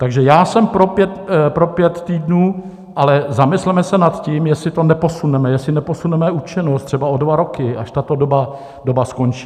Takže já jsem pro pět týdnů, ale zamysleme se nad tím, jestli to neposuneme, jestli neposuneme účinnost třeba o dva roky, až tato doba skončí.